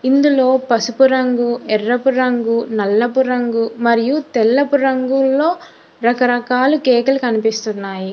ఇందులో పసుపు రంగు ఎర్రపు రంగు నల్లపు రంగు మరియు తెల్లపు రంగుల్లో రకరకాల కేక్ లు కనిపిస్తున్నాయి.